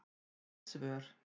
Vill svör